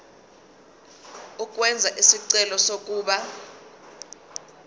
ukwenza isicelo sokuba